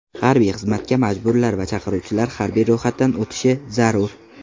Harbiy xizmatga majburlar va chaqiriluvchilar harbiy ro‘yxatdan o‘tishi zarur.